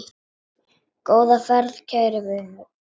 Góða ferð, kæri vinur.